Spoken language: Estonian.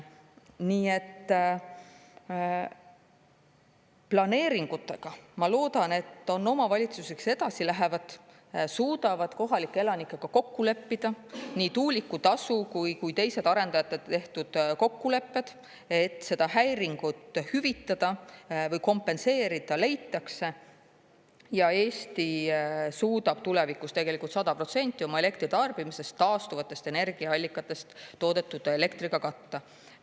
Nii et planeeringutega, ma loodan, et on omavalitsusi, kes edasi lähevad, suudavad kohalike elanikega kokku leppida nii tuulikutasu kui teised arendajate tehtud kokkulepped, et seda häiringut hüvitada või kompenseerida, ja Eesti suudab tulevikus tegelikult 100% oma elektritarbimisest taastuvatest energiaallikatest toodetud elektriga katta.